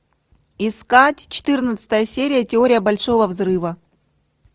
искать четырнадцатая серия теория большого взрыва